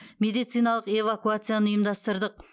медициналық эвакуацияны ұйымдастырдық